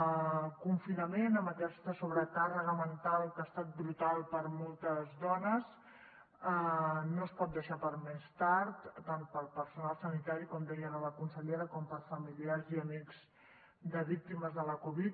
el confinament amb aquesta sobrecàrrega mental que ha estat brutal per a moltes dones no es pot deixar per a més tard tant per al personal sanitari com deia ara la consellera com per a familiars i amics de víctimes de la covid